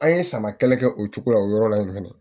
An ye sama kɛlɛ kɛ o cogo la o yɔrɔ la in fɛnɛ